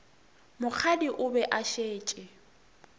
mokgadi o be a šetše